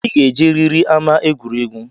I ga-ejeriri ama egwuregwu!